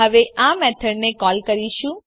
હવે આ મેથડ ને કોલ કરીશું